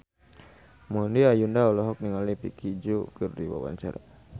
Maudy Ayunda olohok ningali Vicki Zao keur diwawancara